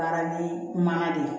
Baara ni mankan de ye